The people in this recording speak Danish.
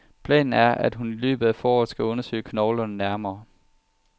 Planen er, at hun i løbet af foråret skal undersøge knoglerne nærmere.